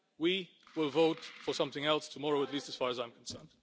we will vote for something else tomorrow, at least as far as I am concerned.